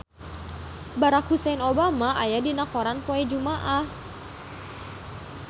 Barack Hussein Obama aya dina koran poe Jumaah